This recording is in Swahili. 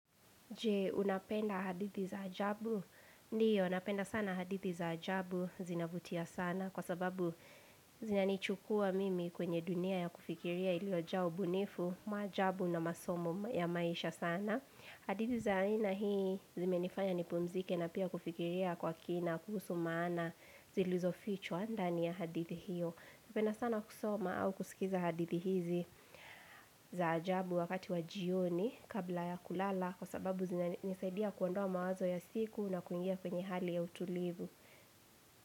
Je unapenda hadithi za ajabu? Ndiyo napenda sana hadithi za ajabu, zinavutia sana kwa sababu zinanichukua mimi kwenye dunia ya kufikiria iliyojaa ubunifu, majabu na masomo ya maisha sana. Hadithi za aina hii zimenifanya nipumzike na pia kufikiria kwa kina kuhusu maana zilizofichwa ndani ya hadithi hiyo. Napenda sana kusoma au kusikiza hadithi hizi za ajabu wakati wa jioni kabla ya kulala Kwa sababu zinanisaidia kuondoa mawazo ya siku na kuingia kwenye hali ya utulivu.